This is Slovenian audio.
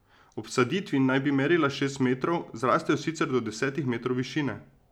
Ob vsaditvi naj bi merila šest metrov, zrastejo sicer do desetih metrov višine.